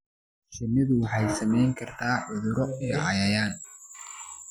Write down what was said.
Shinnidu waxa ay saamayn kartaa cuduro iyo cayayaan.